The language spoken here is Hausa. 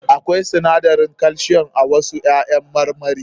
Akwai sinadarin calcium a wasu ƴaƴan marmarin.